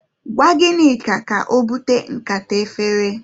Gwa Ginika ka obute nkata efere.